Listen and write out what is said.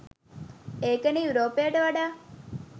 ඒක නේ යුරෝපයට වඩා